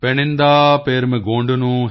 ਪੈਨਿੰਦਾ ਪਰਮੇਗੋਂਡਨੂ ਹਿਮਾਵੰਤਨੁ